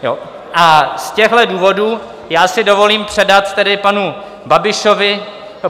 A z těchhle důvodů já si dovolím předat tedy panu Babišovi